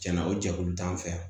Tiɲɛna o jɛkulu t'an fɛ yan